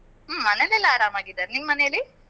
ಹ್ಮ್ ಮನೆಯಲ್ಲೆಲ್ಲ ಆರಾಮಾಗಿದ್ದಾರೆ, ನಿಮ್ ಮನೇಲಿ?